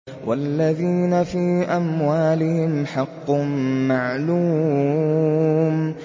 وَالَّذِينَ فِي أَمْوَالِهِمْ حَقٌّ مَّعْلُومٌ